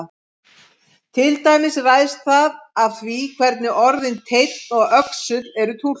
Til dæmis ræðst það af því hvernig orðin teinn og öxull eru túlkuð.